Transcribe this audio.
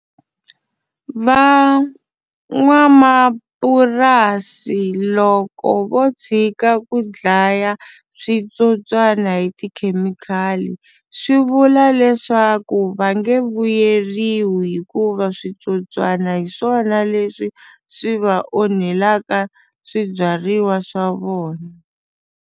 Van'wamapurasi loko vo tshika ku dlaya switsotswani hi tikhemikhali swi vula leswaku va nge vuyeriwi hikuva switsotswana hi swona leswi swi va onhelaka swibyariwa swa vona.